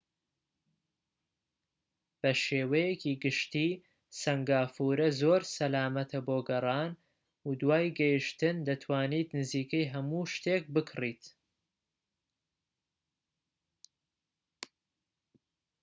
بە شێوەیەکی گشتى سەنگافورە زۆر سەلامەتە بۆ گەڕان، و دوای گەیشتن دەتوانیت نزیکەی هەموو شتێک بکڕیت‎